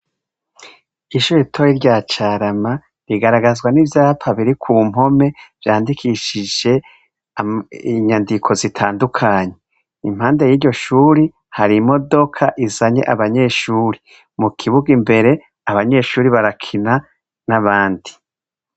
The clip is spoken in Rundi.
Ishure ritoya rya Carama rigararagazwa n'ivyapa biri ku mpome vyandikishije inyandiko zitandukanye impande yiryo shuri hari imodoka izanye abanyeshure mu kibuga imbere abanyeshure barakina n' abandi.